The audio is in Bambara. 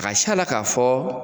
A ga c'a la k'a fɔ